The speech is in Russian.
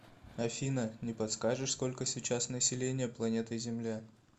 афина не подскажешь сколько сейчас население планеты земля